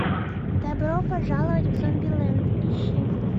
добро пожаловать в зомбилэнд ищи